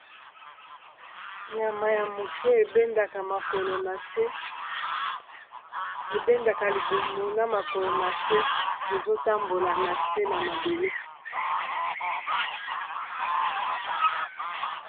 Nyama ya moke ebendaka makolo nase ebendaka libumu na makolo na se ezotambola na se na mabele.